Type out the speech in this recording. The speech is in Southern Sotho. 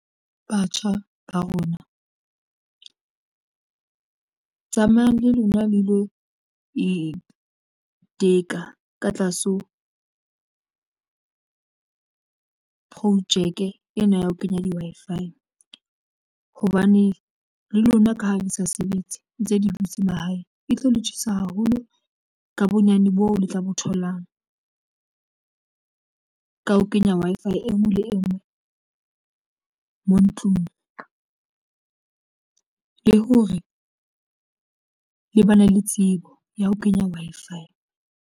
Batjha ba rona tsamayang le lona le lo iteka ka tlase ho projeke ena ya ho kenya di Wi-Fi hobane le lona ka ha di sa sebetse ntse di dutse mahae e tlo le tjhesa haholo ka bonyane boo le tla bo tholang. Ka ho kenya Wi-Fi engwe le engwe mo ntlung le hore le bana le tsebo ya ho kenya Wi-Fi.